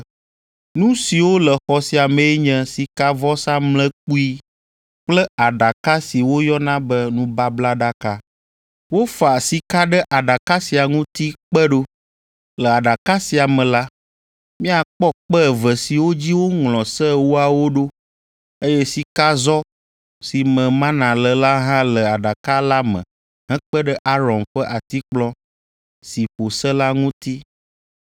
Nu siwo le xɔ sia mee nye Sikavɔsamlekpui kple aɖaka si woyɔna be nubablaɖaka. Wofa sika ɖe aɖaka sia ŋuti kpe ɖo. Le aɖaka sia me la, míakpɔ kpe eve siwo dzi woŋlɔ se ewoawo ɖo, eye sikazɔ si me mana le la hã le aɖaka la me hekpe ɖe Aron ƒe atikplɔ si ƒo se la ŋuti.